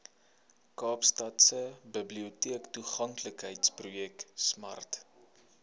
kaapstadse biblioteektoeganklikheidsprojek smart